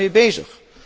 U bent daarmee bezig.